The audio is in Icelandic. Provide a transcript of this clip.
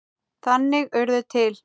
Þannig urðu til